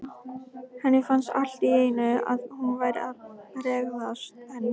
Henni fannst allt í einu að hún væri að bregðast henni.